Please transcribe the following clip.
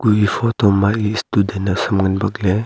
e photo ma student naosam ngan bakley.